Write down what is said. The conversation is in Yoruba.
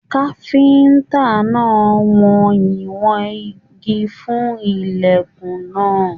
Káfíntà náà wọn ìwọ̀n ìgi fún ilẹkùn náà.